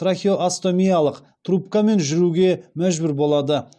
трахеостомиялық трубкамен жүруге мәжбүр болады